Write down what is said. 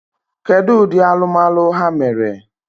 Kedu ụdị alụmalụ ha mere?